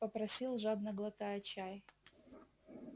попросил жадно глотая чай